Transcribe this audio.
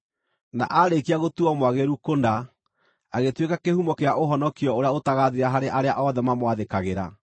na aarĩkia gũtuuo mwagĩrĩru kũna, agĩtuĩka kĩhumo kĩa ũhonokio ũrĩa ũtagaathira harĩ arĩa othe mamwathĩkagĩra,